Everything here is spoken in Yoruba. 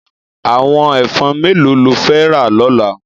Àwòn èfòn méló ló fè rá lòlá?